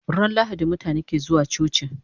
Ran lahadi mutabe ke zuwa coci